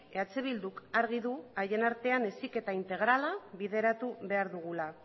eh bilduk argi du haien artean heziketa integrala bideratu behar dugula